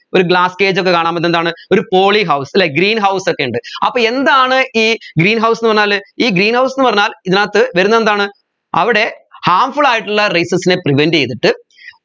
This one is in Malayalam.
ഒരു glass cage ഒക്കെ കാണാൻ പറ്റു എന്താണ് ഒരു poly house അല്ലെ greenhouse ഒക്കെ ഉണ്ട് അപ്പോ എന്താണ് ഈ greenhouse എന്ന് പറഞ്ഞാൽ ഈ greenhouse ന്ന് പറഞ്ഞാൽ ഇതിനകത്ത് വരുന്നത് എന്താണ് അവിടെ harmful ആയിട്ടുള്ള rayses നെ prevent ചെയ്തിട്ട്